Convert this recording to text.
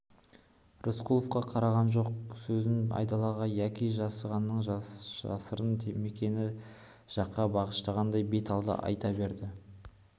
рысқұловқа қараған жоқ сөзін айдалаға яки жасағанның жасырын мекені жаққа бағыштағандай беталды айта берді